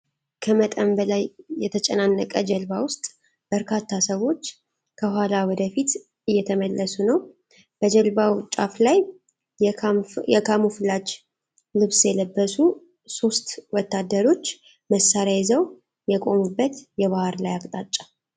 ከመጠን በላይ የተጨናነቀች ጀልባ ውስጥ በርካታ ሰዎች ከኋላ ወደ ፊት እየተመለሱ ነው። በጀልባው ጫፍ ላይ የካሞፍላጅ ልብስ የለበሱ ሦስት ወታደሮች መሣሪያ ይዘው የቆሙበት የባህር ላይ አቅጣጫ።